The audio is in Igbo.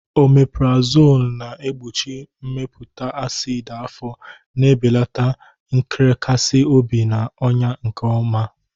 Omepurazonu na-egbochi mmepụta acid afọ, na-ebelata nrekasi obi, na ọnya, nke ọma.